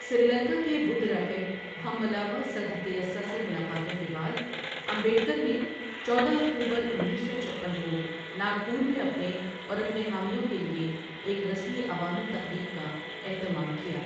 سری لنکا کے بدھ راہب ہمّلاوا سدھتیسّا سے ملاقاتوں کے بعد، امبیڈکر نے چودہ اکتوبر انیس سو چھپن کو ناگپور میں اپنے اور اپنے حامیوں کے لیے ایک رسمی عوامی تقریب کا اہتمام کیا۔